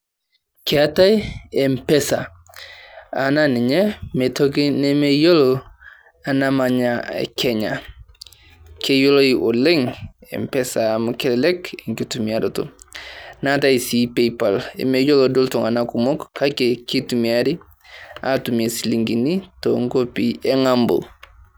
Keetae M-pesa naa ninye mme tii toki nemeyiolo namanya Kenya. Keyioloi oleng m-pesa amu kelelek enkitumiyaroto. Neetae sii paypal emeyiolo doi iltung`anak kumok amu kitumiari atumie ropiyiani too nkuapi e ng`ambo.